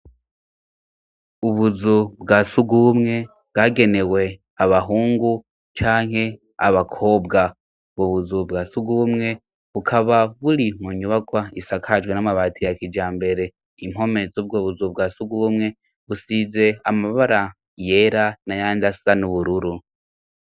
ubuzu bwasugubumwe bwagenewe abahungu canke abakobwa ubuzu bwasugumwe bukaba buri mu nyubakwa isakajwe n'amabati ya kijambere impome yubwo buzu bwasugumwe busize amabara yera na yandasa n'ubururu